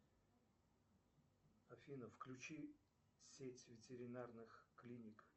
афина включи сеть ветеринарных клиник